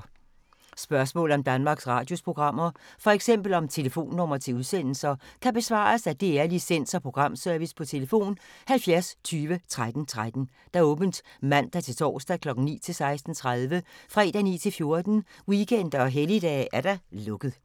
Spørgsmål om Danmarks Radios programmer, f.eks. om telefonnumre til udsendelser, kan besvares af DR Licens- og Programservice: tlf. 70 20 13 13, åbent mandag-torsdag 9.00-16.30, fredag 9.00-14.00, weekender og helligdage: lukket.